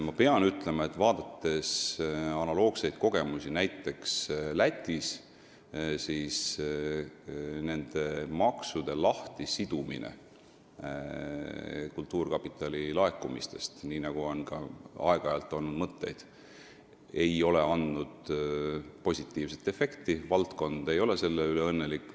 Ma pean ütlema, et kui vaadata analoogseid kogemusi näiteks Lätis, siis nende maksude lahtisidumine kultuurkapitali laekumistest, nii nagu ka meil on aeg-ajalt mõtteid olnud, ei ole andnud positiivset efekti – valdkond ei ole selle üle õnnelik.